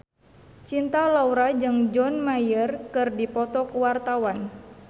Cinta Laura jeung John Mayer keur dipoto ku wartawan